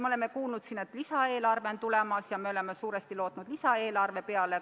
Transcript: Me oleme kuulnud, et lisaeelarve on tulemas, ja me oleme suuresti lootnud lisaeelarve peale.